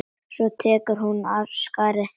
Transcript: Svo tekur hún af skarið.